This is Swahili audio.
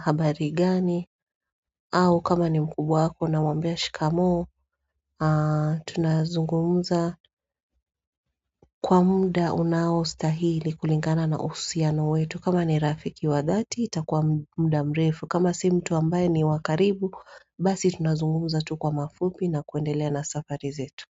habari gani, au kama ni mkubwa wako unamwambia shikamo, tunazungumza kwa muda unaostahili kulingana na uhusiano wetu. Kama ni Rafiki wa dati itakuwa muda mrefu kama si mtu ambaye ni wa karibu Basi tunazungumza tu kwa mafupi na kuendelea na safari zetu.